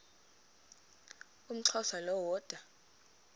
umxhosa lo woda